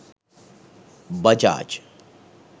bajaj